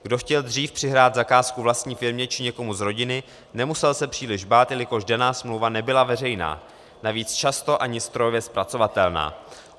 Kdo chtěl dřív přihrát zakázku vlastní firmě či někomu z rodiny, nemusel se příliš bát, jelikož daná smlouva nebyla veřejná, navíc často ani strojově zpracovatelná.